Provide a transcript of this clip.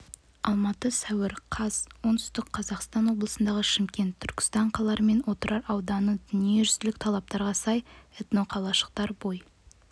алматы сәуір қаз оңтүстік қазақстан облысындаға шымкент түркістан қалалары мен отырар ауданыдадүниежүзілік талаптарға сай этноқалашықтар бой